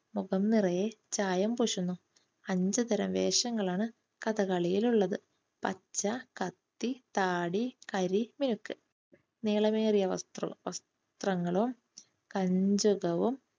മുഖം നിറയെ ചായം പൂശുന്നു അഞ്ചു തരം വേഷങ്ങളാണ് കഥകളിയിൽ ഉള്ളത്. പച്ച, കത്തി, താടി, കരി, മേക്ക് നീളമേറിയ വസ്ത്രങ്ങളും കഞ്ചുകവും